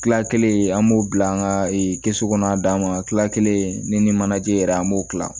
Kila kelen an b'o bila an ka kɛsu kɔnɔ a dan ma kila kelen ni manajɛ yɛrɛ an b'o kila